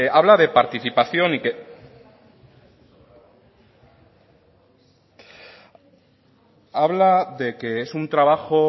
habla de participación y habla de que es un trabajo